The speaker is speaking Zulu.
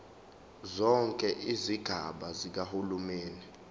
zonke izigaba zikahulumeni